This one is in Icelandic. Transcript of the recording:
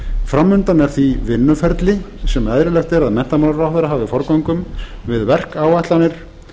fram undan er því vinnuferli sem eðlilegt er að menntamálaráðherra hafi forgöngu um við verkáætlanir